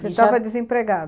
Você estava desempregada?